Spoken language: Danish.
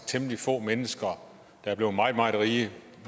temmelig få mennesker der er blevet meget meget rige